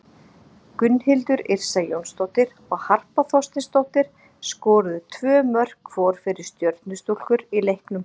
Gunnhildur Yrsa Jónsdóttir og Harpa Þorsteinsdóttir skoruðu tvö mörk hvor fyrir Stjörnustúlkur í leiknum.